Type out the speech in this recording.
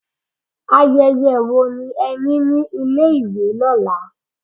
Ayẹyẹ wo ni ẹ ní ní ilé ìwé lọ́la?